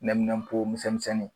Lɛminɛnpo misɛnmisɛnnin.